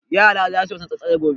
Yara za su yi wasan tsalle-tsalle gobe.